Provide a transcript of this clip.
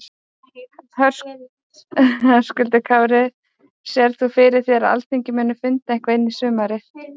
Höskuldur Kári: Sérð þú fyrir þér að Alþingi muni funda eitthvað inn í sumarið?